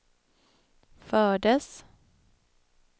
fördes